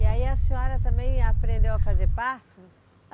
E aí a senhora também aprendeu a fazer parto?